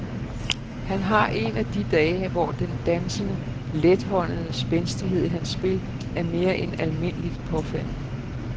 Han har en af de dage, hvor den dansende, lethåndede spændstighed i hans spil er mere end almindeligt påfaldende.